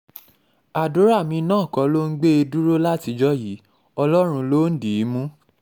àdúrà mi náà kọ́ ló ń gbé e dúró látijọ́ yìí ọlọ́run ló ń dì í mú